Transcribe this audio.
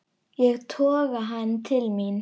Ég toga hann til mín.